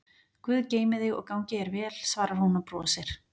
Guð geymi þig og gangi þér vel, svarar hún og brosir.